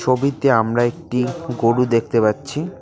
ছবিতে আমরা একটি গরু দেখতে পাচ্ছি।